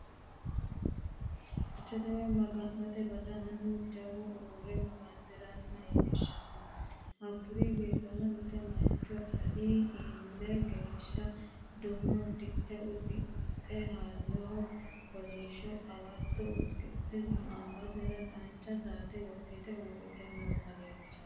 Cherchete woyi maga'note basera Mannu jawu uurre magansiranni leellanno. Hakkuri giddo mitte mancho Ali eeli geeshsha duume uddano uddidhe halloho kolishsho qawatto usidhitino. Angate dancha duumu maazari saate ga'nite huuccatto assidhanni leeltanno.